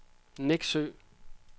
Neksø